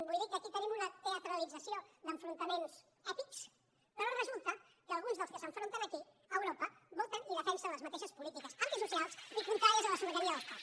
vull dir que aquí tenim una teatralització d’enfrontaments èpics però resulta que alguns dels que s’enfronten aquí a europa volten i defensen les mateixes polítiques antisocials i contràries a la sobirania dels pobles